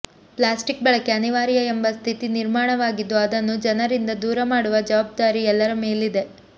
plastic ಬಳಕೆ ಅನಿವಾರ್ಯ ಎಂಬ ಸ್ಥಿತಿ ನಿರ್ಮಾಣವಾಗಿದ್ದು ಅದನ್ನು ಜನರಿಂದ ದೂರ ಮಾಡುವ ಜವಾಬ್ದಾರಿ ಎಲ್ಲರ ಮೇಲಿದೆ